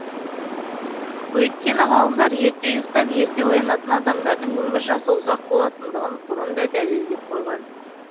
өйткені ғалымдар ерте ұйықтап ерте оянатын адамдардың өмір жасы ұзақ болатындығын бұрын да дәлелдеп қойған